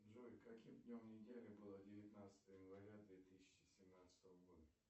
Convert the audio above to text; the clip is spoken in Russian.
джой каким днем недели было девятнадцатое января две тысячи семнадцатого года